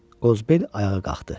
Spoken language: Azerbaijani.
Qozbel ayağa qalxdı.